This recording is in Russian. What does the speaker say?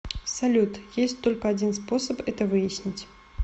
салют есть только один способ это выяснить